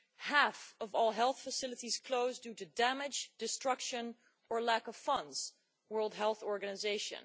Half of all health facilities closed due to damage, destruction or lack of funds', World Health Organization